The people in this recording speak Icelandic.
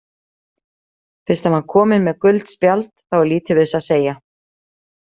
Fyrst hann var kominn með gult spjald þá er lítið við þessu að segja.